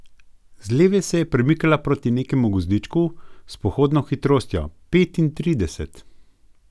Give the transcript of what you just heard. Z leve se je premikala proti nekemu gozdičku s pohodno hitrostjo petintrideset.